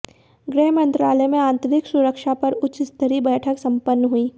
गृहमंत्रालय में आंतरिक सुरक्षा पर उच्च स्तरीय बैठक संपन्न हुई